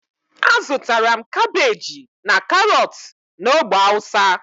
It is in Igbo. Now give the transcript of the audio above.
azutara m kabeji and karotu na ogbe hausa.